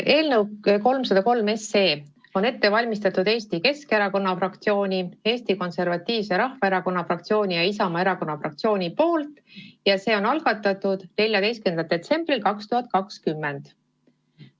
Eelnõu 303 on ette valmistanud Eesti Keskerakonna fraktsioon, Eesti Konservatiivse Rahvaerakonna fraktsioon ja Isamaa Erakonna fraktsioon ning see on algatatud 14. detsembril 2020.